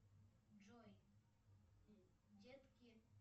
джой детки